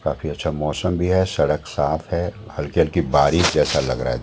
काफी अच्छा मौसम भी है सड़क साफ है हल्की-हल्की बारिश जैसा लग रहा है।